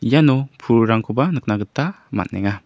iano pulrangkoba nikna gita man·enga.